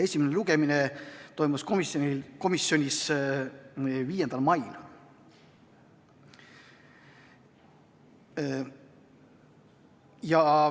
Esimene lugemine toimus komisjonis 5. mail.